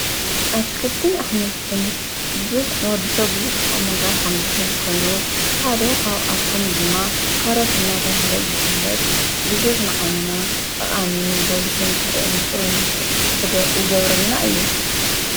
ኣትክልትን ኣሕምልትን ብዙሕ ንወዲ ሰብ ብዙሕ ጥቅምን ረብሓን ዝህብ ኮይኑ ሓደኻብኣቶም ድማ ካሮት ናተብሃለ ዝፍለጥ ብዙሕ ንዓይንና ጠቓሚን ጐሊሁን ክንርኢ ይገብረልና እዩ